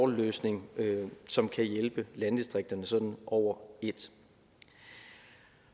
løsning som kan hjælpe landdistrikterne sådan over et